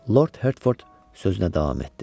Lord Herford sözünə davam etdi.